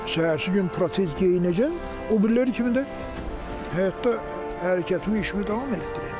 Səhərsi gün protez geyinəcəm, o biriləri kimi də həyatda hərəkətimi işimi davam etdirəcəm.